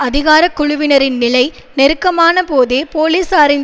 அதிகார குழுவினரின் நிலை நெருக்கமான போதே போலீசாரின்